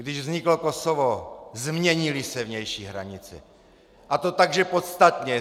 Když vzniklo Kosovo, změnily se vnější hranice, a to tak, že podstatně.